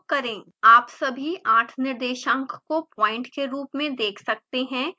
आप सभी 8 निर्देशांक को प्वाइंट के रूप में देख सकते हैं